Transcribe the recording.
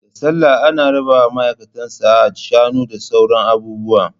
Da sallah ana rabawa maaikatan Sahad Shanu da sauran abubuwa